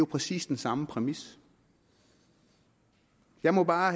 præcis den samme præmis jeg må bare